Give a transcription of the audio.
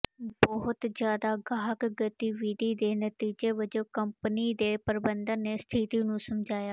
ਬਹੁਤ ਜ਼ਿਆਦਾ ਗਾਹਕ ਗਤੀਵਿਧੀ ਦੇ ਨਤੀਜੇ ਵਜੋਂ ਕੰਪਨੀ ਦੇ ਪ੍ਰਬੰਧਨ ਨੇ ਸਥਿਤੀ ਨੂੰ ਸਮਝਾਇਆ